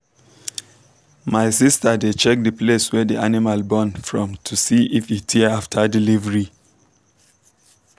my sister dey check the place wey the animal born from to see if e tear after delivery.